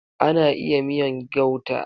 Ana iya miyan gauta.